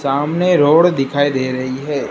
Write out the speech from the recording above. सामने रोड दिखाई दे रही है।